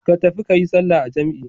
Ka tafi ka yi sallah a jam'i.